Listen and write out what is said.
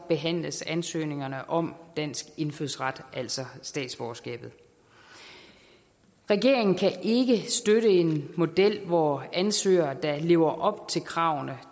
behandles ansøgningerne om dansk indfødsret altså statsborgerskabet regeringen kan ikke støtte en model hvor ansøgere der lever op til kravene